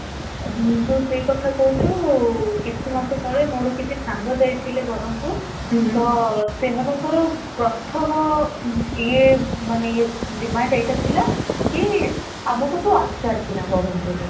ତୁ ସେଇ କଥା କହୁଛୁ ,କିଛି ମାସ ତଳେ ମୋର କିଛି ସାଙ୍ଗ ଯାଇଥିଲେ ବରମପୁର ତ ସେମାନଙ୍କ ପ୍ରଥମ ୟିଏ demand ଏଇଟା ଥିଲା କି ଆମକୁ ତୁ ଆଚାର କିଣା ବରମପୁର ରୁ